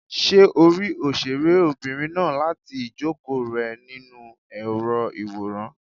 Ṣé o rí òṣèré obìnrin náà láti ìjókòó rẹ nínú èrò ìwòran?